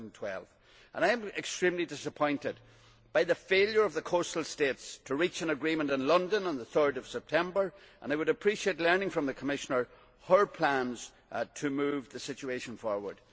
2012. I am extremely disappointed by the failure of the coastal states to reach an agreement in London on 3 September and I would appreciate learning from the Commissioner her plans to move the situation forward.